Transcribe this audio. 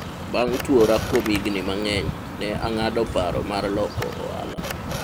abng' tuwora kuom higni mang'eny, ne ang'ado paro mar loko ohala